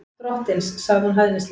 Drottins, sagði hún hæðnislega.